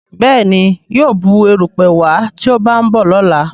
Béèni yíò Bù erùpẹ̀ wá tí o ba nbọ lọla.